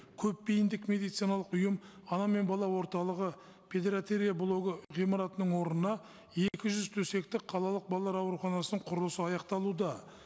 көпбейімдік медициналық ұйым ана мен бала орталығы блогы ғимаратының орнына екі жүз төсектік қалалық балалар ауруханасының құрылысы аяқталуда